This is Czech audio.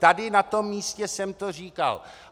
Tady na tom místě jsem to říkal.